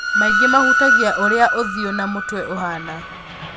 Maingĩ mahutagia ũria ũthiũ na mũtwe ũhana.